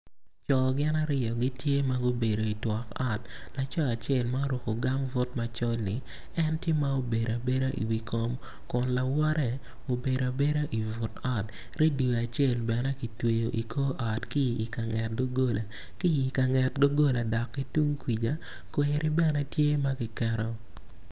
Co gin aryo gitye ma gubedo itwok ot laco acel ma oruku gambut macol-li en tye ma obedo abeda i wi kom kun lawote obedo abeda i but ot redio acel bene kitweyo i kor ot ki i ka nget doggola ki i ka nget doggola dok ki tung kwija kweri bene tye ma ki keto